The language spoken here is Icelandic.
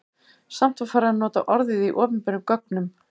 Samt var farið að nota orðið í opinberum gögnum.